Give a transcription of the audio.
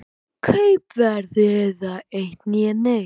Kaupverð eða eitt né neitt.